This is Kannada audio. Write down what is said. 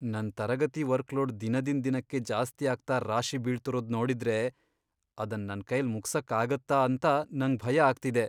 ನನ್ ತರಗತಿ ವರ್ಕ್ಲೋಡ್ ದಿನದಿಂದ್ ದಿನಕ್ಕೆ ಜಾಸ್ತಿಯಾಗ್ತಾ ರಾಶಿ ಬೀಳ್ತಿರೋದ್ ನೋಡುದ್ರೆ ಅದನ್ ನನ್ಕೈಲ್ ಮುಗ್ಸಕ್ಕಾಗತ್ತಾ ಅಂತ ನಂಗ್ ಭಯ ಆಗ್ತಿದೆ.